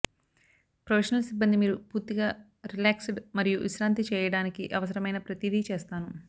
professional సిబ్బంది మీరు పూర్తిగా రిలాక్స్డ్ మరియు విశ్రాంతి చేయడానికి అవసరమైన ప్రతిదీ చేస్తాను